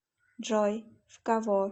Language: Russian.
джой в кого